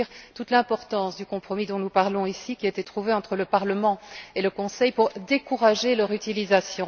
C'est dire toute l'importance du compromis dont nous parlons ici, qui a été trouvé entre le Parlement et le Conseil pour décourager leur utilisation.